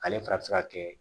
Ale fana bɛ se ka kɛ